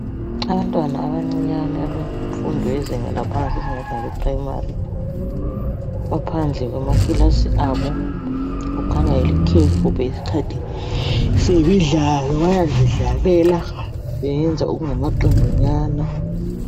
Abantwana abancinyane abemfundo lezinga laphansi esingathi ngabe Primary baphandle kwama kilasi abo. Kukhanya likhefu ngesikhathi semidlalo bayazidlalela beyenza okungamaqembunyana.